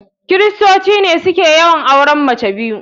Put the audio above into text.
kiristoci ne suke yawanci auren mace biyu.